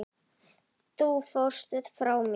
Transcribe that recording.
Þú fórst frá mér.